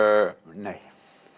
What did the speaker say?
nei